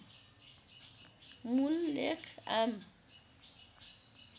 मूल लेख आम